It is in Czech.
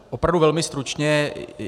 Opravdu velmi stručně.